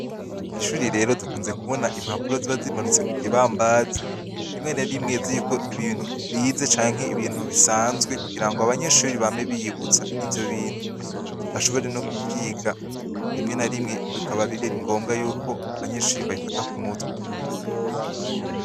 Kw'ishure rero dukunze kubona impapuro ziba zimanitse ku kibambazi rimwe na rimwe ziriko ibintu bize canke ibintu bisanzwe kugira ngo abanyeshure bame biyibutsa ivyo bintu, bashobore no kuvyiga rimwe na rimwe bikaba biri ngombwa yuko abanyeshure babifata ku mutwe.